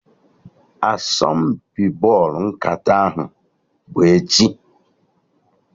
Asọmpi bọlụ nkata ahụ bụ echi